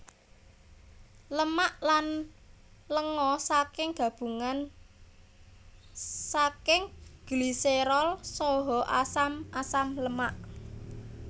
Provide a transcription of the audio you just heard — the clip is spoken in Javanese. Lemak lan lenga saking gabungan saking gliserol saha asam asam lemak